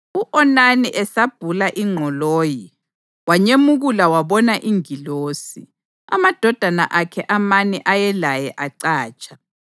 U-Onani esabhula ingqoloyi, wanyemukula wabona ingilosi; amadodana akhe amane ayelaye acatsha.